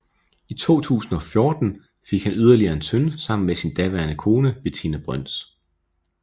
I 2014 fik han yderligere en søn sammen med sin daværende kone Betinna Brøns